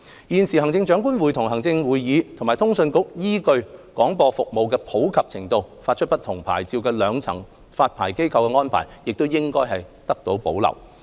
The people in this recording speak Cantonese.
現時行政長官會同行政會議及通訊局依據廣播服務的普及程度，發出不同牌照的兩層發牌機關的安排，亦應得到保留。